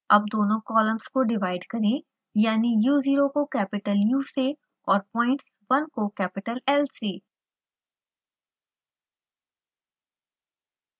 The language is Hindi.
अब दोनों कॉलम्स को डिवाइड करें यानि u zero को कैपिटल u से और points 1 को कैपिटल l से